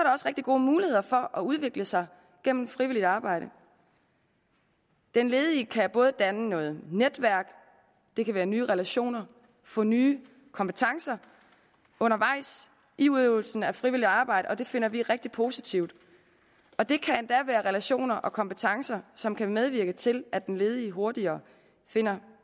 rigtig gode muligheder for at udvikle sig gennem frivilligt arbejde den ledige kan både danne noget netværk det kan være nye relationer få nye kompetencer undervejs i udøvelsen af frivilligt arbejde og det finder vi rigtig positivt og det kan endda være relationer og kompetencer som kan medvirke til at den ledige hurtigere finder